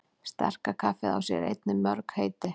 Sterka kaffið á sér einnig mörg heiti.